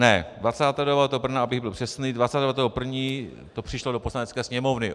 Ne - abych byl přesný, 29. 1. to přišlo do Poslanecké sněmovny.